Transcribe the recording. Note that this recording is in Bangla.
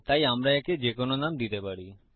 তাই আমরা একে যেকোনো নাম দিতে পারি